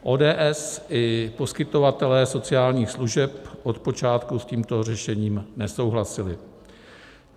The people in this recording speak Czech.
ODS i poskytovatelé sociálních služeb od počátku s tímto řešením nesouhlasili.